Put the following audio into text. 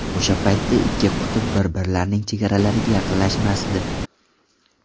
O‘sha paytda ikki qutb bir-birlarining chegaralariga yaqinlashmasdi.